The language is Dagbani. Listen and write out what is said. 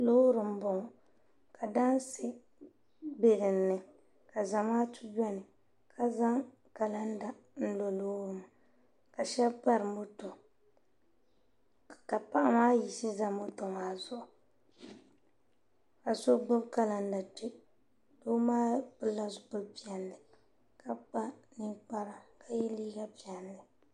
loori n bɔŋɔ ka daansi bɛ dinni ka zamaatu biɛni ka zaŋ kalanda n lo loori maa shab bari moto ka paɣa maa yiɣisi ʒɛ moto maa zuɣu ka so gbubi kalanda kpɛ doo maa pilila zipili piɛlli ka kpa ninkpara ka yɛ liiga piɛlli